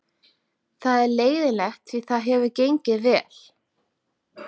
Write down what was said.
Það er leiðinlegt því það hefur gengið vel.